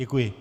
Děkuji.